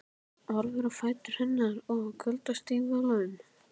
Horfir á fætur hennar í kuldastígvélum.